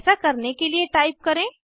ऐसा करने के लिए टाइप करें